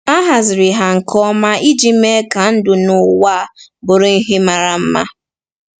A haziri ha nke ọma iji mee ka ndụ n’ụwa bụrụ ihe mara mma.